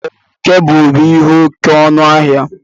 Ee, kebụl bú ihe oke ọnụ ahia